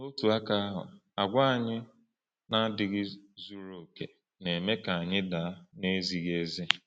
N’otu aka ahụ, àgwà anyị na-adịghị zuru oke na-eme ka anyị daa n’ezighi ezi.